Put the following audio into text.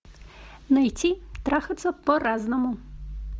найти трахаться по разному